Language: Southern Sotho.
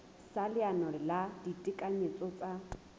sa leano la ditekanyetso tsa